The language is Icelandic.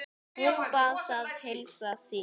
Hún bað að heilsa þér.